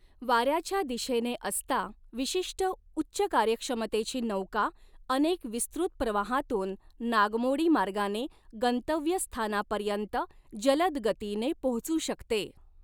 वाऱ्याच्या दिशेने असता, विशिष्ट उच्च कार्यक्षमतेची नौका अनेक विस्तृत प्रवाहांतून नागमोडी मार्गाने गंतव्यस्थानापर्यंत जलद गतीने पोहोचू शकते.